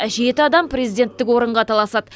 жеті адам президенттік орынға таласады